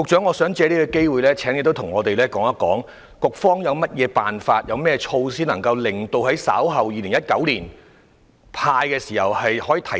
我想藉此機會請局長告訴我們，局方有甚麼方法及措施令稍後在2019年"派錢"時的效率得以提升？